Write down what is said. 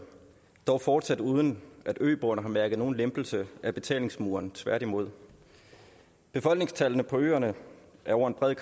dog fortsat uden at øboerne har mærket nogen lempelse af betalingsmuren tværtimod befolkningstallene på øerne er over en bred